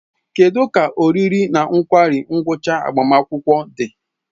Kedu ka oriri na nkwari ngwucha agbamakwụkwọ di?